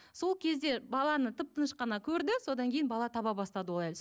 сол кезде баланы тып тыныш қана көрді содан кейін бала таба бастады ол